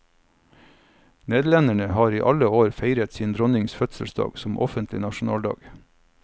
Nederlenderne har i alle år feiret sin dronnings fødselsdag som offentlig nasjonaldag.